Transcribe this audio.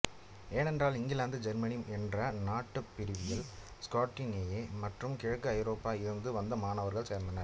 ஏனென்றால் இங்கிலாந்துஜெர்மனி என்ற நாட்டுப் பிரிவில் ஸ்காண்டினேவியா மற்றும் கிழக்கு ஐரோப்பாவில் இருந்து வந்த மாணவர்களும் சேர்ந்தனர்